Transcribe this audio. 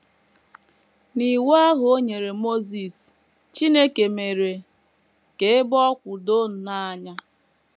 N’Iwu ahụ o nyere Mosis, Chineke mere ka ebe ọ kwụ doo nnọọ anya.